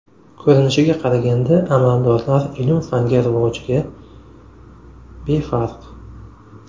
Ko‘rinishiga qaraganda, amaldorlar ilm-fanga rivojiga befarq.